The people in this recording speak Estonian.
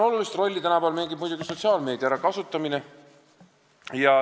Olulist rolli mängib tänapäeval muidugi sotsiaalmeedia.